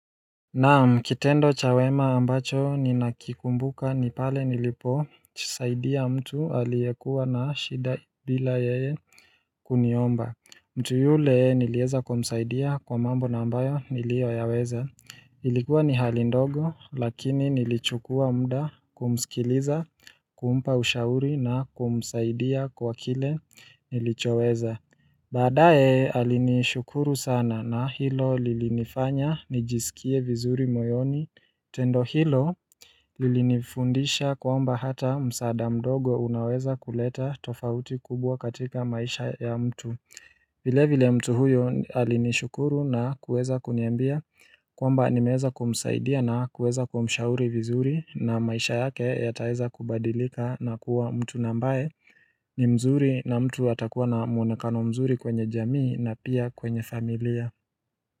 Naam kitendo cha wema ambacho ni nakikumbuka ni pale nilipojisaidia mtu aliyekua na shida bila ye kuniomba mtu yule nilieza kumsaidia kwa mambo nambayo niliyoyaweza Ilikuwa ni hali ndogo lakini nilichukua mda kumsikiliza kumpa ushauri na kumsaidia kwa kile nilichoweza badaye alinishukuru sana na hilo lilifanya nijisikie vizuri moyoni tendo hilo Lilifundisha kwamba hata msada mdogo unaweza kuleta tofauti kubwa katika maisha ya mtu vile vile mtu huyo alinishukuru na kuweza kuniambia kwamba nimeweza kumsaidia na kuweza kumshauri vizuri na maisha yake yataeza kubadilika na kuwa mtu nambae ni mzuri na mtu atakuwa na mwonekano mzuri kwenye jamii na pia kwenye familia.